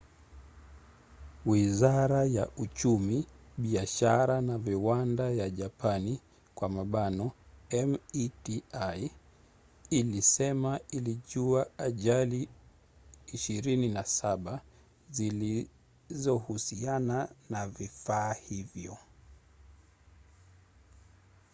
wizara ya uchumi biashara na viwanda ya japani meti ilisema ilijua ajali 27 zilizohusiana na vifaa hivyo